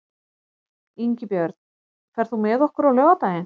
Ingibjörn, ferð þú með okkur á laugardaginn?